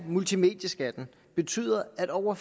multimedieskatten betyder at over